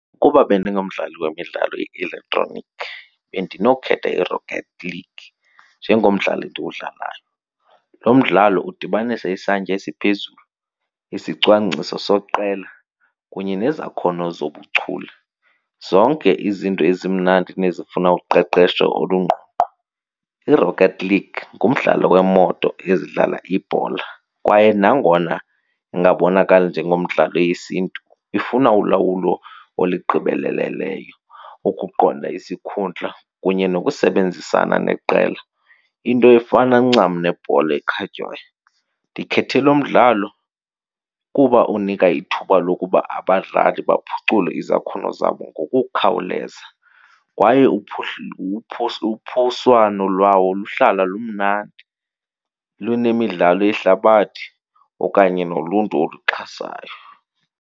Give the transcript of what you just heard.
Ukuba bendingumdlali wemidlalo ye-elektroniki bendinokhetha iRocket League njengomdlalo endiwudlalayo. Lo mdlalo udibanisa isantya esiphezulu, isicwangciso seqela kunye nezakhono zobuchule, zonke izinto ezimnandi nezifuna uqeqesho olungqongqo. I-Rocket League ngumdlalo weemoto ezidlala ibhola kwaye nangona ingabonakali njengomdlalo wesiNtu, ifuna ulawulo olugqibeleleyo ukuqonda isikhundla kunye nokusebenzisana neqela, into efana ncam nebhola ekhatywayo. Ndikhethe lo mdlalo kuba unika ithuba lokuba abadlali baphucule izakhono zabo ngokukhawuleza kwaye uphoswano lwawo luhlala lumnandi lunemidlalo yehlabathi okanye noluntu oluxhasayo.